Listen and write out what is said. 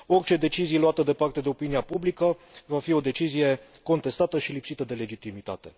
Orice decizie luată departe de opinia publică va fi o decizie contestată și lipsită de legitimitate.